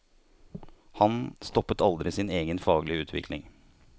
Han stoppet aldri sin egen faglige utvikling.